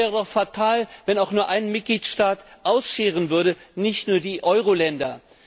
Es wäre doch fatal, wenn auch nur ein Mitgliedstaat ausscheren würde, nicht nur die Euroländer.